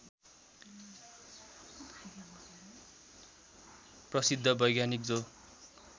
प्रसिद्ध वैज्ञानिक जो